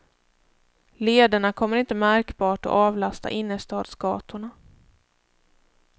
Lederna kommer inte märkbart att avlasta innerstadsgatorna.